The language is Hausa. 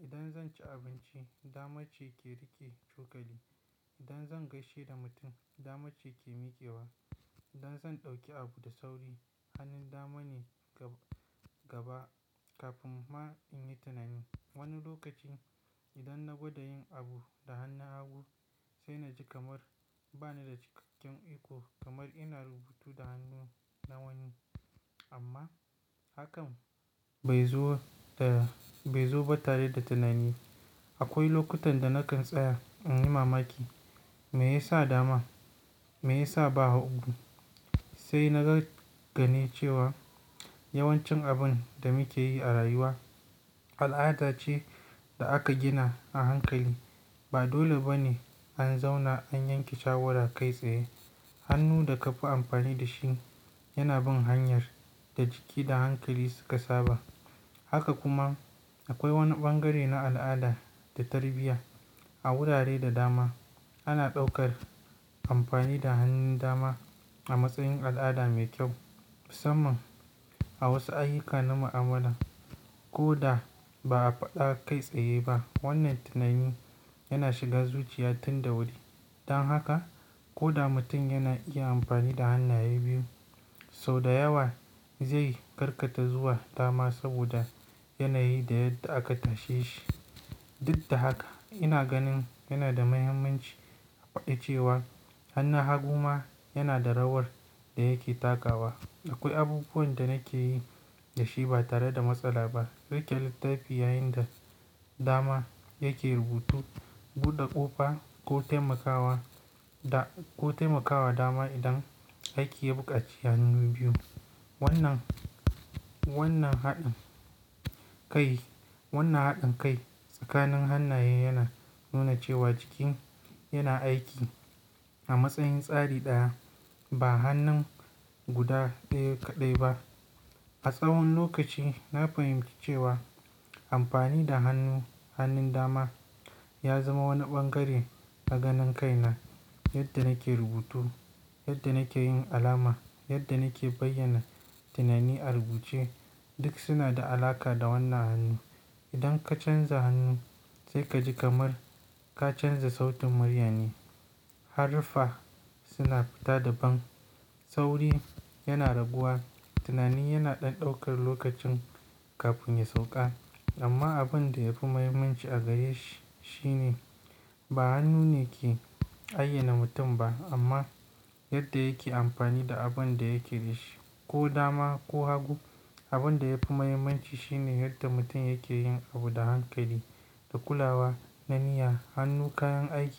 Idan zan ci abinci, dama ce ke riƙe cokali. Idan zan gaishe da mutum, dama ce ke miƙewa. Idan zan ɗauki abu da sauri, hannun dama ne gaba, gaba kafin ma in yi tunani. Wani lokaci idan na gwada yin abu da hannun hagu sai na ji kamar ba ni da cikakken iko kamar ina rubutu da hannu na wani. Amma hakan bai zo ba tare da tunani. Akwai lokutan da na kan tsaya in yi mamaki. Me ya sa dama? Me ya sa ba hagu? Sai na gane cewa yawancin abun da muke yi a rayuwa al'ada ce da aka gina a hankali. Ba dole ba ne an zauna an yanke shawara kai tsaye. Hannu da ka fi amfani da shi yana bin hanyar da jiki da hankali suka saba. Haka kuma akwai wani ɓangare na al'ada da tarbiyya. A wurare da dama ana ɗaukar amfani da hannun dama a matsayin al'ada mai kyau. Musamman a wasu ayyuka na mu'amala ko da ba a faɗa kai tsaye ba, wannan tunani yana shiga zuciya tun da wuri. Dan haka ko da mutum yana iya amfani da hannaye biyu, sau da yawa zai karkata zuwa dama saboda yanayi da aka tashe shi. Duk da haka ina ganin yana da muhimmanci a faɗi cewa hannun hagu ma yana da rawar da yake takawa. Akwai abubuwan da nake yi da shi ba tare da matsala ba. Riƙe littafi yayin da dama yake rubutu, buɗe ƙofa ko taimakawa da, ko taimakawa dama idan aiki ya buƙaci hannu biyu. Wannan, wannan haɗin kai, wannan haɗin kai tsakanin hannaye yana nuna cewa jiki yana aiki a matsayin tsari ɗaya ba hannun guda ɗaya kaɗai ba. A tsawon lokaci na fahimci cewa amfani da hannu, hannun dama ya zama wani ɓangare na ganin kai na. Yadda nake rubutu, yadda nake yin alama, yadda nake bayyana tunani a rubuce duk suna da alaƙa da wannan hannu. Idan ka canza hannu sai ka ji kamar ka canza sautin murya ne. Harufa suna fita daban. Tauri yana raguwa. Tunani yana ɗan ɗaukar lokaci kafin ya sauƙa. Amma abin da yafi muhimmanci a gareshi, shi ne ba hannu ne ke ayyana mutum ba amma yadda yake amfani da abin da yake da shi. Ko dama ko hagu. Abin da yafi muhimmanci shi ne yadda mutum yake yin abu da hankali, da kulawa, da niyya. Hannu kayan aiki ne.